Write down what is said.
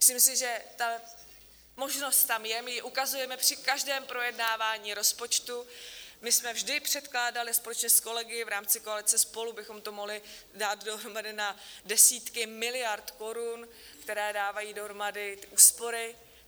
Myslím si, že ta možnost tam je, my ji ukazujeme při každém projednávání rozpočtu, my jsme vždy předkládali společně s kolegy, v rámci koalice SPOLU bychom to mohli dát dohromady na desítky miliard korun, které dávají dohromady úspory.